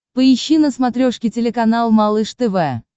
поищи на смотрешке телеканал малыш тв